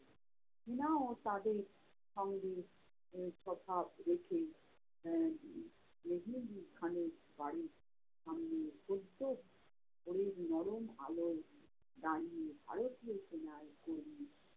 সেনাও তাদের সঙ্গে আহ স্বভাব রেখে আহ মেহেদী খানের বাড়ির সামনে সদ্য ভোরের নরম আলোয় দাঁড়িয়ে ভারতীয় সেনার